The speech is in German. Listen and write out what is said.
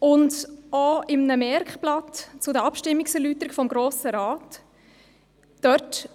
Auch in einem Merkblatt zu den Abstimmungserläuterungen des Grossen Rats